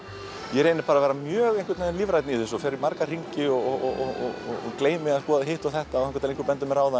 ég reyni að vera mjög lífrænn í þessu fer í marga hringi og gleymi að skoða hitt og þetta þangað til einhver bendir mér á það